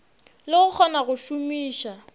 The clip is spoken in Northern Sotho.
le go kgona go šomiša